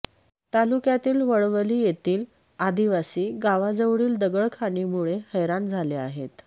तालुक्यातील वळवली येथील आदिवासी गावाजवळील दगडखाणींमुळे हैराण झाले आहेत